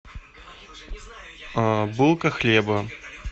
булка хлеба